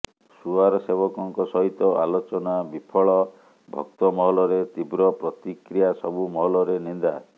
ସୁଆର ସେବକଙ୍କ ସହିତ ଆଲୋଚନା ବିଫଳ ଭକ୍ତମହଲରେ ତୀବ୍ର ପ୍ରତିକ୍ରିୟା ସବୁ ମହଲରେ ନିନ୍ଦା